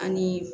An ni